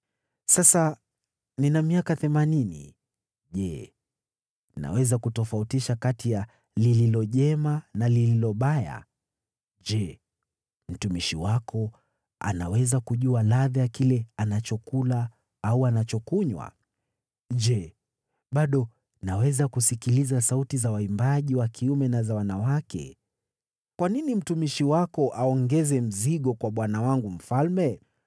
Sasa nina miaka themanini. Je, naweza kutofautisha kati ya lililo jema na lililo baya? Je, mtumishi wako anaweza kujua ladha ya kile anachokula au anachokunywa? Je, bado naweza kusikiliza sauti za waimbaji wa kiume na za wanawake? Kwa nini mtumishi wako aongeze mzigo kwa bwana wangu mfalme?